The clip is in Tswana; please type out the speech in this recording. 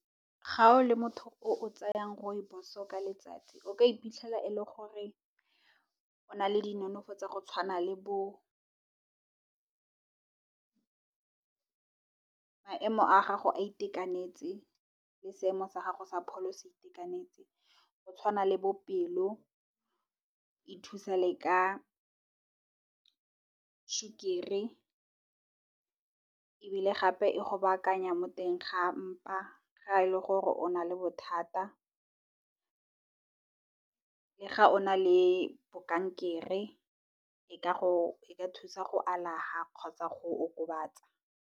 Ga o le motho o tsayang Rooibos ka letsatsi o ka iphitlhela e le gore o na le di nonofo tsa go tshwana le bo maemo a gago a itekanetse le seemo sa gago sa pholo se itekanetse. Go tshwana le pelo, e thusa le ka sukiri ebile, gape e go baakanya mo teng ga mpa ga e le gore o na le bothata, le ga o na le kankere e ka thusa go alafa, kgotsa go okobatsa.